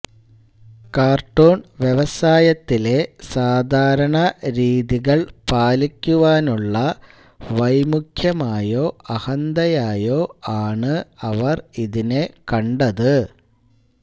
cartoon വ്യവസായത്തിലെ സാധാരണ രീതികൾ പാലിക്കുവാനുള്ള വൈമുഖ്യമായോ അഹന്തയായോ ആണ് അവർ ഇതിനെ കണ്ടത്